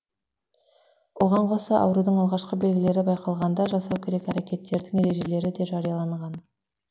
оған қоса аурудың алғашқы белгілері байқалғанда жасау керек әрекеттердің ережелері де жарияланған